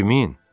Kimin?